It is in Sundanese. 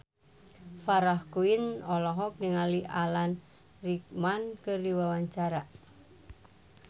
Farah Quinn olohok ningali Alan Rickman keur diwawancara